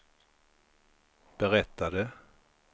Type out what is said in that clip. berättade